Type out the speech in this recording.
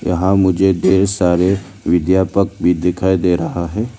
यहां मुझे ढेर सारे विद्यापक भी दिखाई दे रहा है।